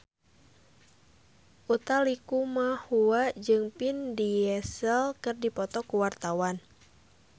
Utha Likumahua jeung Vin Diesel keur dipoto ku wartawan